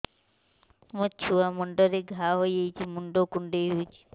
ମୋ ଛୁଆ ମୁଣ୍ଡରେ ଘାଆ ହୋଇଯାଇଛି ମୁଣ୍ଡ କୁଣ୍ଡେଇ ହେଉଛି